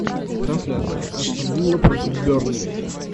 трансляция астон вилла против бернли